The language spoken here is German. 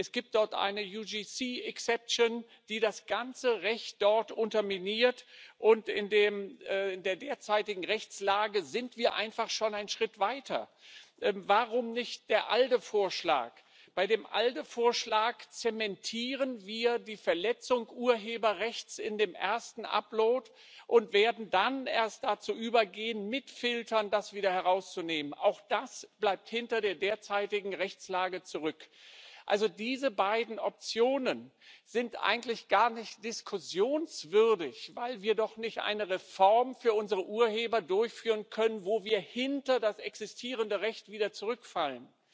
Es gibt dort eine die das ganze Recht dort unterminiert, und in der derzeitigen Rechtslage sind wir einfach schon einen Schritt weiter. Warum nicht der ALDE Vorschlag? Bei dem ALDE Vorschlag zementieren wir die Verletzung des Urheberrechts in dem ersten Upload und würden dann erst dazu übergehen, das mit Filtern wieder herauszunehmen. Auch das bleibt hinter der derzeitigen Rechtslage zurück. Diese beiden Optionen sind also eigentlich gar nicht diskussionswürdig, weil wir doch nicht eine Reform für unsere Urheber durchführen können, mit der wir wieder hinter das existierende Recht zurückfallen.